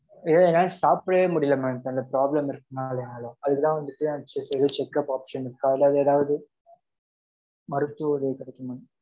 எ~ என்னால சாப்பிடவே முடியல madam அந்த problem இருக்கறதுனாலயா இல்ல அதுக்கு தான் வந்துட்டு check ஏதும் checkup option இருக்கா அல்லது எதாவது மருத்துவ உதவி கிடைக்குமா?